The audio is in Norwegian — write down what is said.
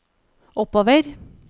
oppover